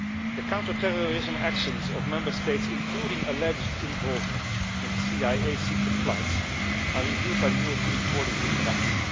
The counterterrorism actions of Member States, including alleged involvement in the CIA secret flights, are reviewed by the European Court of Human Rights.